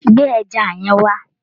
Gbé ẹja yẹn wá